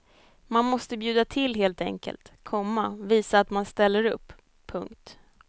Man måste bjuda till helt enkelt, komma visa att man ställer upp. punkt